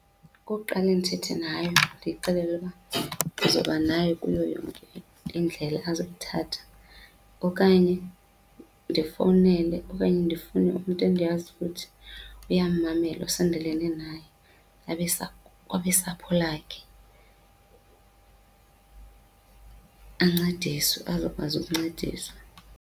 Kukuqale ndithethe nayo ndiyixelele uba ndizoba nayo kuyo yonke indlela azoyithatha okanye ndifowunele okanye ndifune umntu endiyaziyo ukuthi uyammamela usondelene naye abesapho lakhe, ancediswe azokwazi ukuncediswa.